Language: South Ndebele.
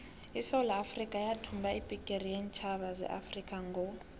isewula afrikha yathumba ibhigiri yeentjhaba zeafrikha ngo